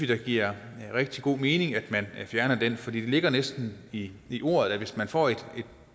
det giver rigtig god mening at man fjerner den for det ligger næsten i i ordet at hvis man får et